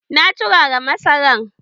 Na turara masaran.